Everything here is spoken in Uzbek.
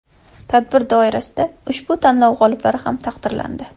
Tadbir doirasida ushbu tanlov g‘oliblari ham taqdirlandi.